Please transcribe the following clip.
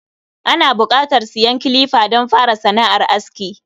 Ana buƙatar siyan kilifa don fara sana’ar aski